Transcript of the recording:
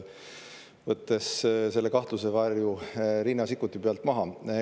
Võtame selle kahtlusevarju Riina Sikkuti pealt maha.